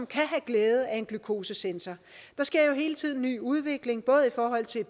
kan have glæde af en glykosesensor der sker jo hele tiden ny udvikling både i forhold til